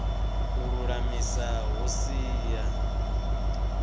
u lulamisa hu si ya